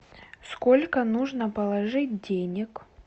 сколько нужно положить денег